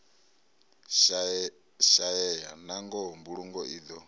shaeya nangoho mbulungo i do